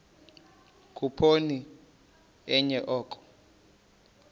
khuphoni enye oko